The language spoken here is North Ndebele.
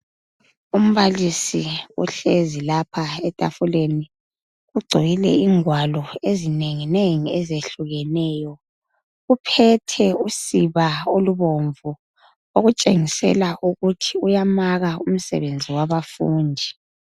Umbalisi uhlezi lapha etafuleni kugcwele ingwalo ezinengi nengi ezehlukeneyo. Uphethe usiba olubomvu okutshengisela ukuthi uyamaka umsebenzi wabafundi.